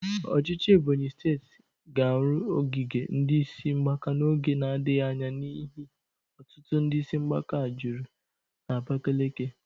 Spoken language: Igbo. Ọchịchị Ebonyi steeti ga-arụ ogige ndị isi mgbaka n'oge na-adaghị anya n'ihi ọtụtụ ndị isi mgbaka juru n'Abakeleke.